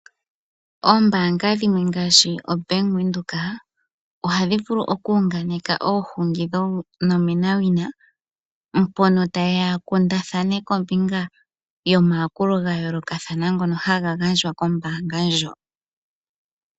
Oombaanga dhimwe ngaashi oBank Windhoek ohadhi vulu oku unganeka oohungi dhonomenawina mpono ta ye ya ya kundathane kombinga omayakulo ga yoolokathana ngono haga gandjwa kombaanga ndjoka.